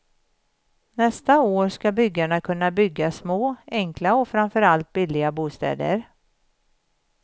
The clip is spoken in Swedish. Nästa år ska byggarna kunna bygga små, enkla och framför allt billiga bostäder.